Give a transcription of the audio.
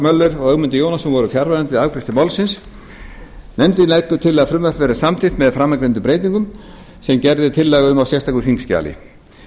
möller og ögmundur jónasson voru fjarverandi við afgreiðslu málsins nefndin leggur til að frumvarpið verði samþykkt með framangreindum breytingum sem gerð er tillaga um í sérstöku þingskjali